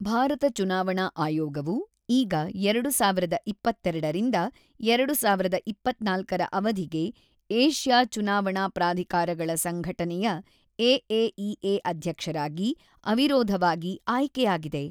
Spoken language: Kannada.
ಭಾರತ ಚುನಾವಣಾ ಆಯೋಗವು ಈಗ ೨೦೨೨ ರಿಂದ ೨೦೨೪ ರ ಅವಧಿಗೆ ಏಷ್ಯಾ ಚುನಾವಣಾ ಪ್ರಾಧಿಕಾರಗಳ ಸಂಘಟನೆಯ ಎಎಇಎ ಅಧ್ಯಕ್ಷರಾಗಿ ಅವಿರೋಧವಾಗಿ ಆಯ್ಕೆಯಾಗಿದೆ.